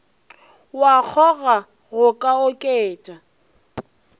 wa kgoga go ka oketša